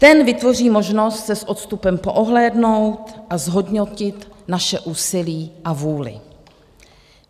Ten vytvoří možnost se s odstupem poohlédnout a zhodnotit naše úsilí a vůli.